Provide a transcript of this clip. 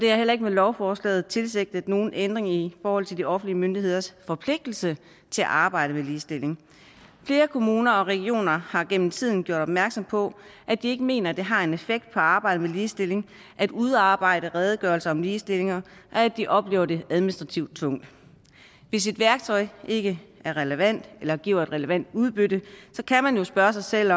er heller ikke med lovforslaget tilsigtet nogen ændring i forhold til de offentlige myndigheders forpligtelse til at arbejde med ligestilling flere kommuner og regioner har gennem tiden gjort opmærksom på at de ikke mener det har en effekt på arbejdet med ligestilling at udarbejde redegørelser om ligestilling og at de oplever det administrativt tungt hvis et værktøj ikke er relevant eller giver et relevant udbytte kan man jo spørge sig selv